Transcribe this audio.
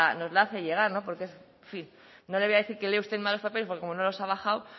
nos la hace llegar porque es no le voy a decir que lee usted mal los papeles porque como no los ha bajado